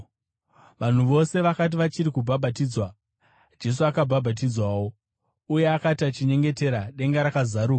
Vanhu vose vakati vachiri kubhabhatidzwa, Jesu akabhabhatidzwawo. Uye akati achinyengetera, denga rakazaruka,